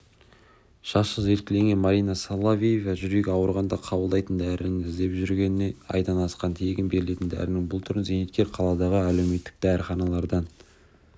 жасы желкелеген марина соловьева жүрегі ауырғанда қабылдайтын дәріні іздеп жүргеніне айдан асқан тегін берілетін дәрінің бұл түрін зейнеткер қаладағы әлеуметтік дәріханалардан